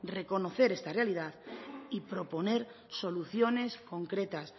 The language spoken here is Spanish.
reconocer esta realidad y proponer soluciones concretas